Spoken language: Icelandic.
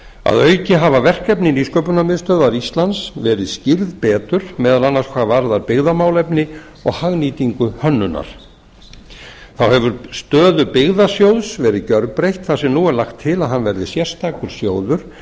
að auki hafa verkefni nýsköpunarmiðstöðvar íslands verið skýrð betur meðal annars hvað varðar byggðamálefni og hagnýtingu hönnunar þá hefur stöðu byggðasjóðs verið gjörbreytt þar sem nú er lagt til að hann verði sérstakur sjóður